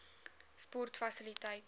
sportfasiliteite